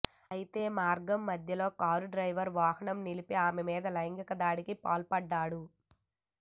అయితే మార్గం మధ్యలో కారు డ్రైవర్ వాహనం నిలిపి ఆమె మీద లైంగిక దాడికి పాల్పడ్డాడు